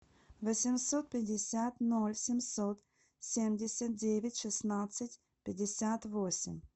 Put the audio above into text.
восемьсот пятьдесят ноль семьсот семьдесят девять шестнадцать пятьдесят восемь